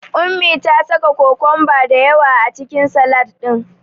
Ummi ta saka kokomba da yawa a cikin Salad ɗin.